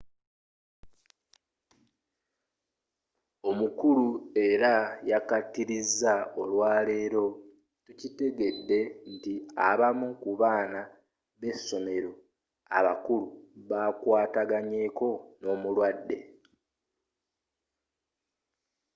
omukulu era yakkatiriza olwaleero tukitegeddeko nti abamu ku baana b’essomero abakulu bakwataganako n’omulwadde.